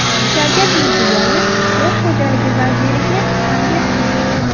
Shavkat Mirziyoyev qishloq xo‘jaligi vaziriga tanbeh berdi.